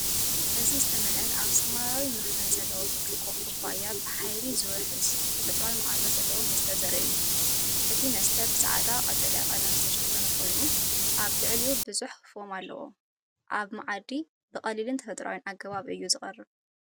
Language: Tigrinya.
እዚ ዝተመልአን ኣብ ሰማያዊ መኽደኒ ዘለዎ ብርጭቆ ኩባያ ብሓይሊ ዝውሕዝን ተፈጥሮኣዊ መኣዛ ዘለዎ መስተ ዘርኢ እዩ። እቲ መስተ ብጻዕዳን ቀጠልያን ቀለም ዝተሸፈነ ኮይኑ ኣብ ልዕሊኡ ብዙሕ ፎም ኣለዎ። ኣብ መኣዲ ብቐሊልን ተፈጥሮኣዊን ኣገባብ እዩ ዝቐርብ።